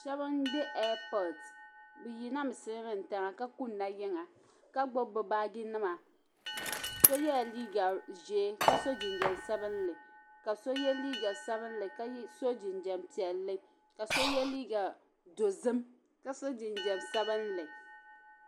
shɛba m-be ɛɛpɔɔti bɛ yina mi silimiin'tiŋa ka kunna yiŋa ka gbubi bɛ baajinima so yela liiga ʒee ka so jinsabinlli ka ye liiga sabinlli ka so jinjɛm piɛlli ka so ye liiga dozim ka so sabinlli